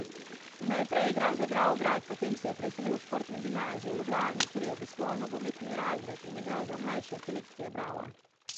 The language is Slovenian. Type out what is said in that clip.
Najprej je igral za Dravograd, potem se je preselil v športno gimnazijo v Ljubljani, kjer je obiskoval nogometni razred in igral za mlajše selekcije Brava.